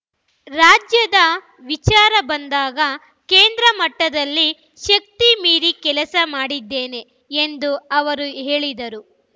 ರಾಜ್ಯದ ವಿಚಾರ ಬಂದಾಗ ಕೇಂದ್ರ ಮಟ್ಟದಲ್ಲಿ ಶಕ್ತಿ ಮೀರಿ ಕೆಲಸ ಮಾಡಿದ್ದೇನೆ ಎಂದು ಅವರು ಹೇಳಿದರು